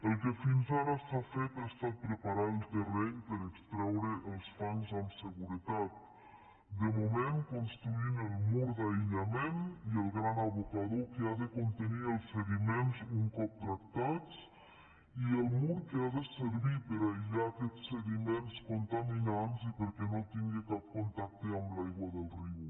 el que fins ara s’ha fet ha estat preparar el terreny per extreure els fangs amb seguretat de moment construint el mur d’aïllament i el gran abocador que ha de contenir els sediments un cop tractats i el mur que ha de servir per a aïllar aquests sediments contaminants i perquè no tingui cap contacte amb l’aigua del riu